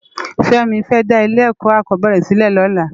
Femi fè dá ilé èkò akòbèrè silè lòlá